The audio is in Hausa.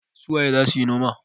su waye za su yi noman?